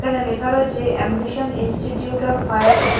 এখানে লেখা রয়েছে ambition institute of higher education.